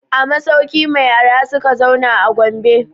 A masauki mai arha suka zauna a Gombe.